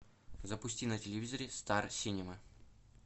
запусти на телевизоре стар синема